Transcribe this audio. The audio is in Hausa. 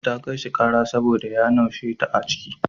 Ta kai shi ƙara saboda ya naushe ta a ciki.